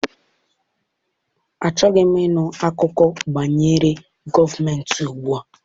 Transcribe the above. Achọghị m ịnụ akụkọ banyere gọọmentị gboo.